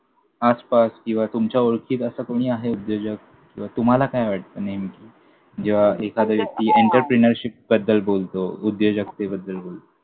आसपास किंवा तुमच्या ओळखीत असा कोणी आहे उद्योजक? किंवा तुम्हाला काय वाटतं नेमकी? जेव्हा एखादी व्यक्ती एंटरप्रेनरशिपबद्दल बोलतो, उद्योजकतेबद्दल बोलतो.